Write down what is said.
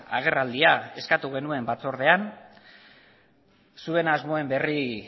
agerraldia eskatu genuen batzordean zuen asmoen berri